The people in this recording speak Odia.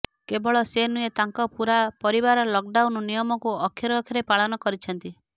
କେବଳ ସେ ନୁହେଁ ତାଙ୍କ ପୂରା ପରିବାର ଲକଡାଉନ ନିୟମକୁ ଅକ୍ଷରେ ଅକ୍ଷରେ ପାଳନ କରୁଛନ୍ତି